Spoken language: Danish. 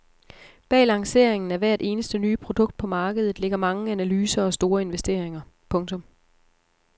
Bag lanceringen af hvert eneste nye produkt på markedet ligger mange analyser og store investeringer. punktum